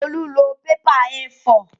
Olú lọ pépà A4